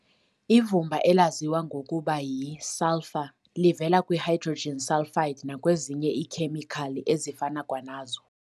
Ivumba elaziwa ngokuba y"i-sulfur" livela kwi-hydrogen sulfide nakwezinye iikhemikhali ezifana kwanazo.